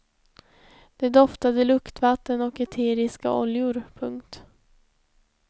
De doftade luktvatten och eteriska oljor. punkt